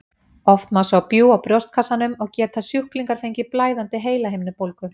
Oft má sjá bjúg á brjóstkassanum og geta sjúklingar fengið blæðandi heilahimnubólgu.